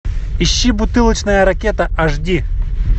ищи бутылочная ракета аш ди